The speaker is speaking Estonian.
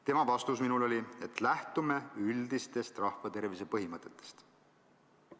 Tema vastus minule oli, et lähtume üldistest rahvatervise põhimõtetest.